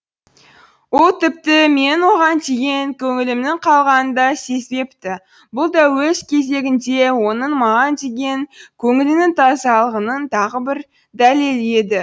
ол тіпті менің оған деген көңілімнің қалғанын да сезбепті бұл да өз кезегінде оның маған деген көңілінің тазалығының тағы бір дәлелі еді